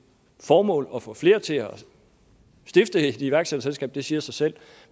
formål at få flere til at stifte et iværksætterselskab det siger sig selv